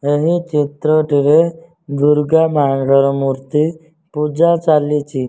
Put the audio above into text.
ଏହି ଚିତ୍ରଟିରେ ଦୁର୍ଗାମାଙ୍କର ମୂର୍ତ୍ତି ପୂଜା ଚାଲିଛି।